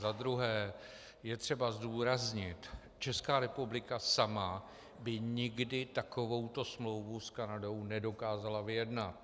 Za druhé je třeba zdůraznit, Česká republika sama by nikdy takovouto smlouvu s Kanadou nedokázala vyjednat.